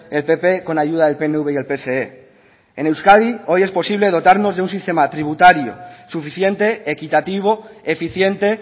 el pp con ayuda del pnv y el pse en euskadi hoy es posible dotarnos de un sistema tributario suficiente equitativo eficiente